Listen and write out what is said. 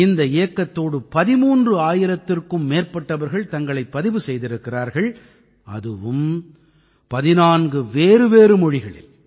இந்த இயக்கத்தோடு 13000த்திற்கும் மேற்பட்டவர்கள் தங்களைப் பதிவு செய்திருக்கிறார்கள் அதுவும் 14 வேறுவேறு மொழிகளில்